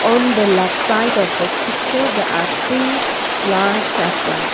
on the left side of this picture there are trees flowers as well.